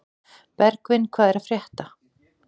Bergvin, hvað er að frétta?